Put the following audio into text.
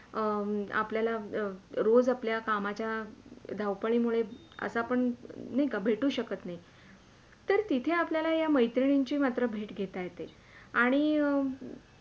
अं आपल्याला रोज आपल्या कामाच्या धावपाळि मुळे असा पण नाय का आपण भेटू शकत नाही तर तिथे आपल्याला या मेत्रिणींची मात्र भेट घेता येते आणि.